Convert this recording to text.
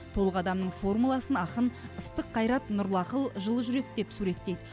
толық адамның формуласын ақын ыстық қайрат нұрлы ақыл жылы жүрек деп суреттейді